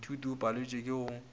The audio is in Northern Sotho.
moithuti o paletšwe ke go